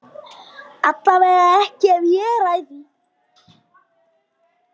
Allavega ekki ef ég ræð því.